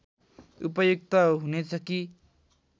उपयुक्त हुनेछ कि